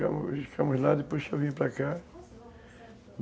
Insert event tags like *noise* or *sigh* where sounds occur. *unintelligible* Nós ficamos lá, depois eu vim para cá.